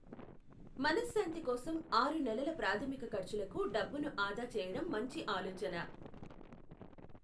మనశ్శాంతి కోసం, ఆరు నెలల ప్రాథమిక ఖర్చులకు డబ్బును ఆదా చేయడం మంచి ఆలోచన.